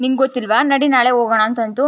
ನಿಂಗೆ ಗೊತ್ತಿಲ್ವ ನಡಿ ನಾಳೆ ಹೋಗೋಣ ಅಂತ ಅಂತೂ --